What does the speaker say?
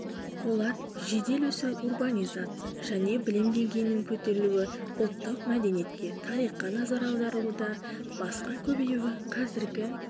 олар жедел өсу урбанизация және білім деңгейінің көтерілуі ұлттық мәдениетке тарихқа назар аударылуда басқа көбеюі қазіргі